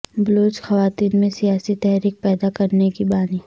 بلوچ خواتین میں سیاسی تحریک پیدا کرنے کی بانی